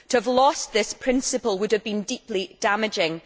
to have lost this principle would have been deeply damaging.